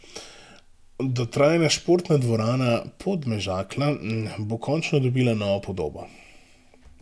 Dotrajana Športna dvorana Podmežakla bo končno dobila novo podobo.